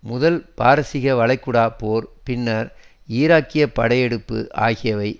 முதல் பாரசீக வளைகுடா போர் பின்னர் ஈராக்கிய படையெடுப்பு ஆகியவை